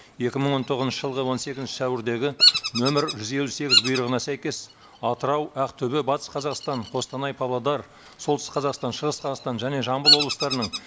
екі мың он тоғызыншы жылғы он сегізінші сәуірдегі нөмір жүз елу сегіз бұйрығына сәйкес атырау ақтөбе батыс қазақстан қостанай павлодар солтүстік қазақстан шығыс қазақстан және жамбыл облыстарының